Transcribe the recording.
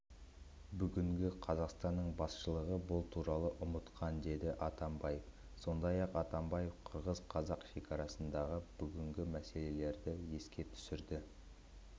бүгінгі қазақстанның басшылығы бұл туралы ұмытқан деді атамбаев сондай-ақ атамбаев қырғыз-қазақ шекарасындағы бүгінгі мәселелерді еске түсірді